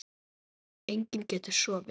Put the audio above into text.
Enginn getur sofið.